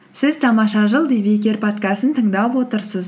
сіз тамаша жыл подкастын тыңдап отырсыз